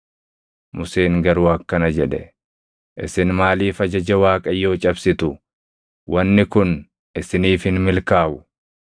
Museen garuu akkana jedhe; “Isin maaliif ajaja Waaqayyoo cabsitu? Wanni kun isiniif hin milkaaʼu!